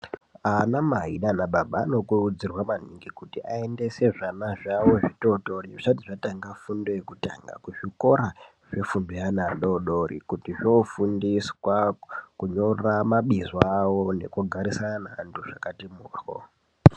Anamai naana baba anokurudzirwa maningi kuti aendese zvana zvavo zvitootori zvisat zvatanga fundo yekutanga kuzvikora zvefundo yaana adoodori. Kuti zvoofundiswa kunyora mabizo avo nekugarisana neantu zvakati mhoryo.